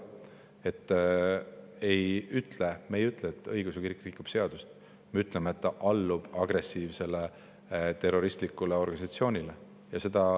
Me ei ütle, et õigeusu kirik rikub seadust, me ütleme, et ta allub agressiivsele terroristlikule organisatsioonile.